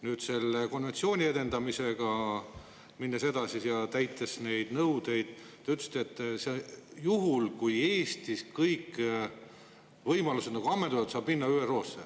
Kui me selle konventsiooni edendamisega edasi läheme ja täidame neid nõudeid, te ütlesite, et juhul, kui Eestis kõik võimalused on ammendunud, saab minna ÜRO-sse.